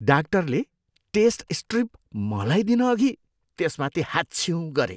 डाक्टरले test strip मलाई दिनअघि त्यसमाथि हाच्छिउँ गरे।